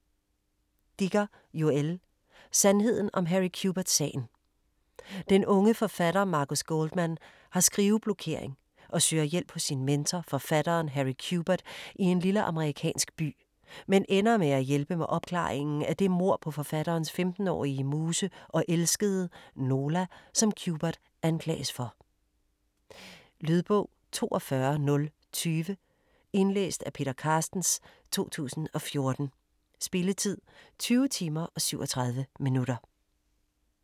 Dicker, Joël: Sandheden om Harry Quebert-sagen Den unge forfatter Marcus Goldman har skriveblokering og søger hjælp hos sin mentor, forfatteren Harry Quebert i en lille amerikansk by, men ender med at hjælpe med opklaringen af det mord på forfatterens 15-årige muse og elskede, Nola, som Quebert anklages for. Lydbog 42020 Indlæst af Peter Carstens, 2014. Spilletid: 20 timer, 37 minutter.